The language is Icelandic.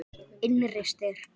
Innri styrk.